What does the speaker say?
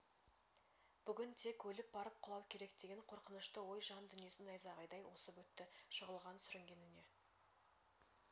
бүгін тек өліп барып құлау керек деген қорқынышты ой жан дүниесін найзағайдай осып өтті жығылған сүрінгеніне